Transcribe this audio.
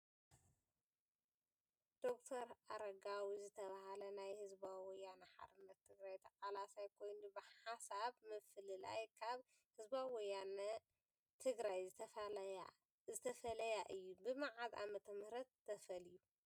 ዶክተር ኣረጋዊ ዝተባሃ ናይ ህዝባዊ ወያነ ሓርነት ትግራይ ተቃላሳይ ኮይኑ ብሓሳብ ምፍልላይ ካብ ህዝባዊ ወያነ ትግራይ ዝተፈለያ እዩ። ብመዓዝ ዓ/ም ተፋልዩ?'